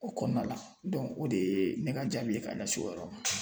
O kɔnɔna la dɔnku o de ye ne ka jaabi ye k'a ɲɛsin o yɔrɔ ma